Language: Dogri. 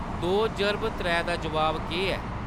दो जर्ब त्रै दा जवाब केह्‌‌ ऐ